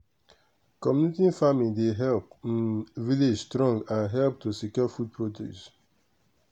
community farming dey help um village strong and help to secure food produce.